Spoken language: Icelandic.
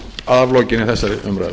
að lokinni þessari umræðu